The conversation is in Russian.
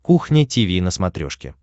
кухня тиви на смотрешке